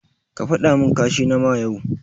Ka fadamin kashi nama yau.